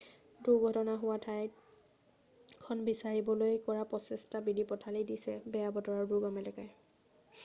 দুৰ্ঘটনা হোৱা ঠাইখন বিচাৰিবলৈ কৰা প্ৰচেষ্টাত বিধি পথালি দিছে বেয়া বতৰ আৰু দুৰ্গম এলেকাই